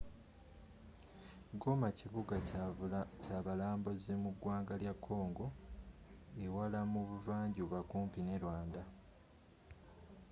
goma kibuga kyabalambuzi mu ggwanga lya congo ewala mu buvanjuba kumpi ne rwanda